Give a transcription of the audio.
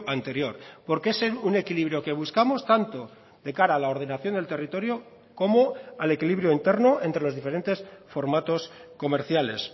anterior porque es un equilibrio que buscamos tanto de cara a la ordenación del territorio como al equilibrio interno entre los diferentes formatos comerciales